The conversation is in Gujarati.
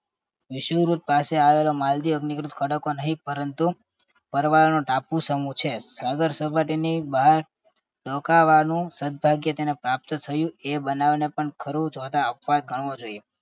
વિષુવવૃત પાસે આવેલો માલદીવ અગ્નિકૃત ખડકો નહીં પરંતુ પરવાળાનો ટાપુ સમૂહ છે. સાગર સપાટીની બહાર રોકાવાનું સદ્ભાગ્ય તેને પ્રાપ્ત થયું એ બનાવને પણ ખરું જોતા અપવાદ ગણવું જોઈએ